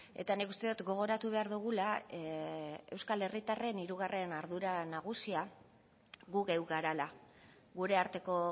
eta nik uste dut gogoratu behar dugula euskal herritarren hirugarren ardura nagusia gu geu garela gure arteko